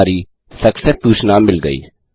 हमें हमारी सक्सेस सूचना मिल गया